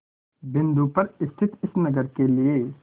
बिंदु पर स्थित इस नगर के लिए